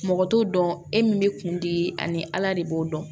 Mɔgɔ t'o dɔn e min bɛ kun di ani ala de b'o dɔn